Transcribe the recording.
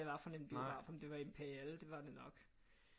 Var for en biograf om det var Imperial det var det nok